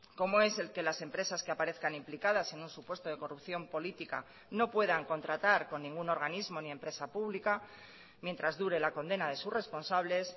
como es el que las empresas que aparezcan implicadas en un supuesto de corrupción política no puedan contratar con ningún organismo ni empresa pública mientras dure la condena de sus responsables